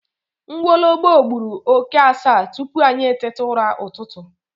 Nwologbo gburu oke asaa tupu anyị eteta ụra ụtụtụ